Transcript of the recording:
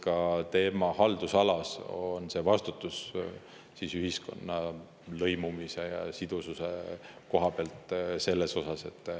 Ka tema vastutab oma haldusalas ühiskonna lõimumise ja sidususe eest.